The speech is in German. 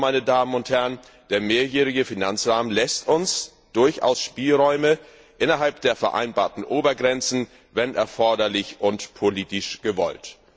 Also, der mehrjährige Finanzrahmen lässt uns durchaus Spielräume innerhalb der vereinbarten Obergrenzen, wenn erforderlich und politisch gewollt.